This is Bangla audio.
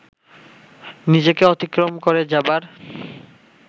নিজেকে অতিক্রম করে যাবার